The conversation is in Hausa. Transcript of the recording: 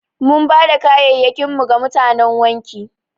Mun bada kaya'yakin mu ga mutanan wanki.